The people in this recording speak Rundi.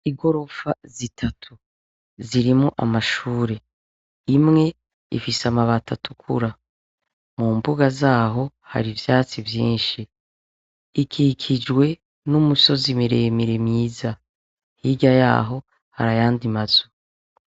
Igorofa zitatu zirimwo amashure, imwe ifise amabati atukura, mu mbuga zaho hari ivyatsi vyinshi, ikikijwe n'imisozi miremire myiza, hirya yaho hari ayandi mazu.